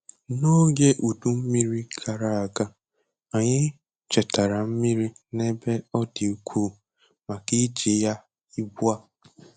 N'oge udu mmiri gara aga, anyị chetara mmiri n'ebe ọ dị ukwuu maka iji ya ugbu a